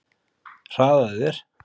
Hraðaðu þér!